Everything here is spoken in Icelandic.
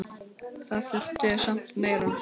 Það þurfti samt meira til.